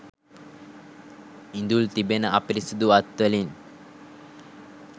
ඉඳුල් තිබෙන අපිරිසිදු අත්වලින්